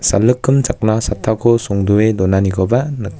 salikkim chakna chattako songdoe donanikoba nik--